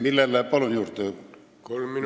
Palun aega juurde!